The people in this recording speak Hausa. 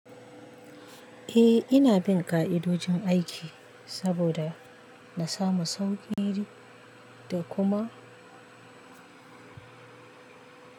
Eh ina bin ƙa'idojin aiki saboda na samu sauƙi da kuma.